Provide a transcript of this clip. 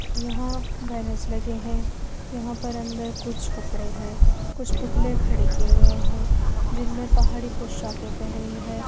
यहां बैनर्स लगे हैं यहां पर अंदर कुछ कपड़े हैं कुछ पुतले खड़े किए गए हैं जिनमें पहाड़ी पोशाके पहनी है।